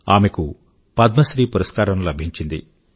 ఆమెకు పద్మశ్రీ పురస్కారం లభించింది